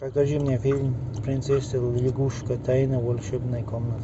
покажи мне фильм принцесса лягушка тайна волшебной комнаты